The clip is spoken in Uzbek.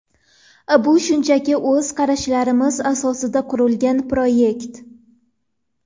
Bu shunchaki o‘z qarashlarimiz asosida qurilgan proyekt.